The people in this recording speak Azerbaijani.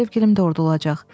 Sevgilim orada olacaq.